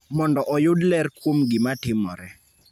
mondo oyud ler kuom gima timore